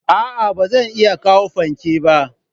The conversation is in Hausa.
A'a ba zan iya kawo fanke ba.